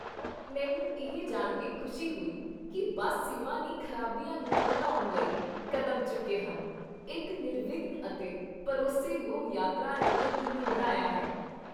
ਮੈਨੂੰ ਇਹ ਜਾਣ ਕੇ ਖੁਸ਼ੀ ਹੋਈ ਕਿ ਬੱਸ ਸੇਵਾ ਨੇ ਖ਼ਰਾਬੀਆਂ ਨੂੰ ਘਟਾਉਣ ਲਈ ਕਡੈਮਚੁੱਕੇ ਹਨ, ਇੱਕ ਨਿਰਵਿਘਨ ਅਤੇ ਭਰੋਸੇਯੋਗ ਯਾਤਰਾ ਨੂੰ ਯਕੀਨੀ ਬਣਾਇਆ ਹੈ।